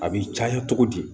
A bɛ caya cogo di